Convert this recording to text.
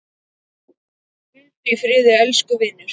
Hvíldu í friði, elsku vinur.